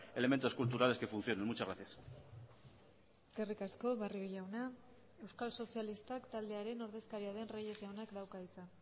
elementos culturales que funcionen muchas gracias eskerrik asko barrio jauna euskal sozialistak taldearen ordezkaria den reyes jaunak dauka hitza